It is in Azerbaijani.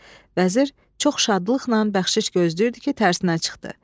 Vəzir çox şadlıqla bəxşiş gözləyirdi ki, tərsinə çıxdı.